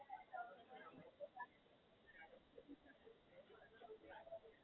અચ્છા. અહિયાં તારા ફ્રેન્ડ હતા તારી સાથે? કેટલા જણ હતા અહિયાં, તારી બેચ માં હતા ને?